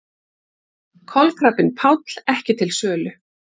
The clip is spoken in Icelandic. Kolkrabbinn Páll ekki til sölu